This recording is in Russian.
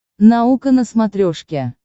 наука на смотрешке